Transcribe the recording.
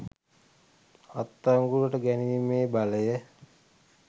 අත්අඩංගුවට ගැනීමේ බලය